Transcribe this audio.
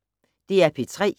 DR P3